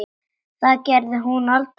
Það gerði hún aldrei aftur.